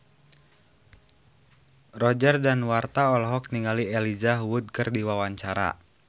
Roger Danuarta olohok ningali Elijah Wood keur diwawancara